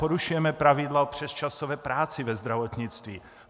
Porušujeme pravidla o přesčasové práci ve zdravotnictví.